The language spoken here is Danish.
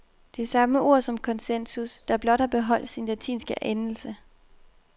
Det er samme ord som konsensus, der blot har beholdt sin latinske endelse.